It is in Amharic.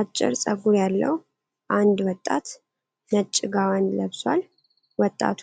አጭር ጸጉር ያለው አንድ ወጣት ነጭ ጋወን ለብሷል። ወጣቱ